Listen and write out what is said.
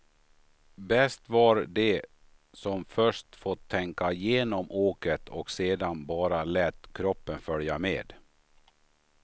Bäst var de som först fått tänka igenom åket och sedan bara lät kroppen följa med.